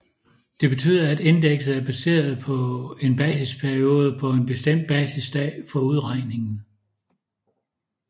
Det betyder at indekset er baseret på en basisperiode på en bestemt basisdag for udregningen